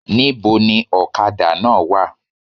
Ní bo ni òkadà náà wa?